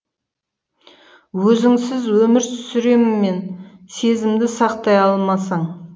өзіңсіз өмір сүрем мен сезімді сақтай алмасаң